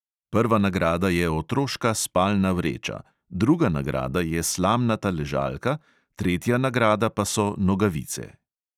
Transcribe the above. Prva nagrada je otroška spalna vreča, druga nagrada je slamnata ležalka, tretja nagrada pa so nogavice.